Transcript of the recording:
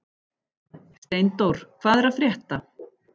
Steindór, hvað er að frétta?